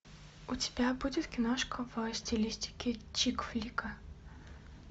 у тебя будет киношка в стилистике чик флика